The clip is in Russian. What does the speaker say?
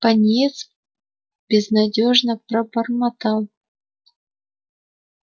пониетс безнадёжно пробормотал